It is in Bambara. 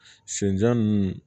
Senjan ninnu